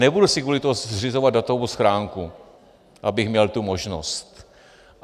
Nebudu si kvůli tomu zřizovat datovou schránku, abych měl tu možnost.